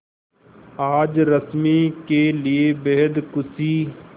आज रश्मि के लिए बेहद खुशी